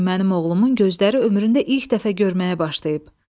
Bu gün mənim oğlumun gözləri ömründə ilk dəfə görməyə başlayıb.